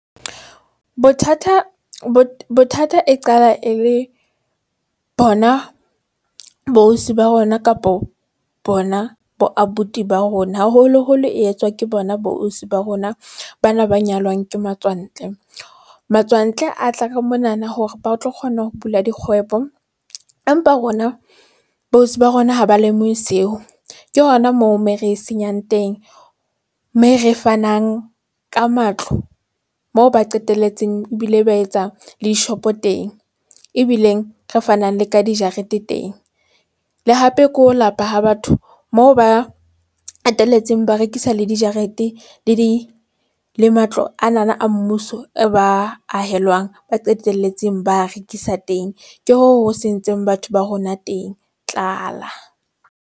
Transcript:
Bothata bo bothata e qala e le bona bo ausi ba bona kapo bona bo abuti ba rona, haholoholo e etswa ke bona bo ausi ba rona. Bana ba nyalwang ke matswantle. Matswantle a tla ka mona na hore ba tlo kgona ho bula dikgwebo. Empa rona bo ausi ba rona ha ba lemohe seo. Ke hona moo moo re senyang teng mme re fanang ka matlo. Moo ba qetelletseng ebile ba etsa le di-shop-o teng ebileng re fanang le ka dijarete teng. Le hape ke ho lapa ha batho moo ba qetelletseng ba rekisa le dijarete le di le matlo ana na a mmuso e ba ahelwang ba qetelletseng ba rekisa le dijarete le di le matlo ana na a mmuso e ba ahelwang ba qetelletseng ba a rekisa teng ke hoo ho sentseng batho ba rona teng, tlala.